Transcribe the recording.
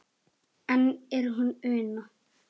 Enn er hún Una